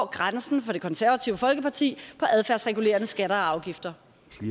grænsen for det konservative folkeparti for adfærdsregulerende skatter og afgifter